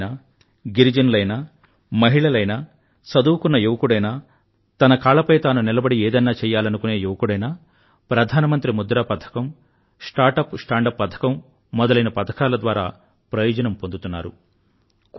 దళితులైనా గిరిజనులైనా మహిళలైనా చదువుకున్న యువకుడైనా తన కాళ్ళపై తాను నిలబడి ఏదన్నా చెయ్యాలనుకునే యువకుడైనా ప్రధానమంత్రి ముద్రా పథకం స్టార్టప్ పథకం స్టాండప్ పథకం మొదలైన పథకాల ద్వారా ప్రయోజనం పొందుతున్నారు